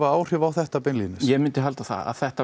áhrif á þetta beinlínis já ég myndi halda það að þetta